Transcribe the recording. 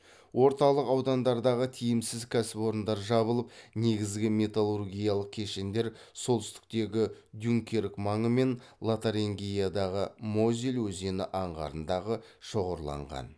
орталық аудандардағы тиімсіз кәсіпорындар жабылып негізгі металлургиялық кешендер солтүстіктегі дюнкерк маңы мен лотарингиядағы мозель өзені аңғарындағы шоғырланған